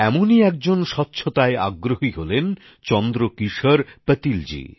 এমনি একজন স্বচ্ছতাগ্রহী হলেন চন্দ্রকিশোর পাতিলজি